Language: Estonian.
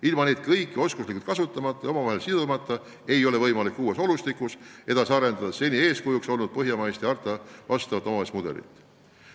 Ilma neid kõiki oskuslikult kasutamata ja omavahel sidumata ei ole võimalik uues olustikus edasi arendada seni eeskujuks olnud põhjamaist ja hartale vastavat omavalitsuse mudelit.